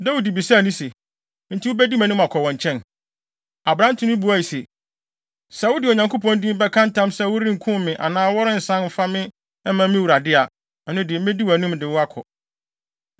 Dawid bisaa no se, “Enti wubedi mʼanim akɔ wɔn nkyɛn?” Aberante no buae se, “Sɛ wode Onyankopɔn din bɛka ntam sɛ worenkum me anaa worensan mfa me mma me wura de a, ɛno de, medi wʼanim de wo akɔ.”